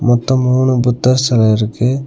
மொத்தோ மூணு புத்தர் செல இருக்கு.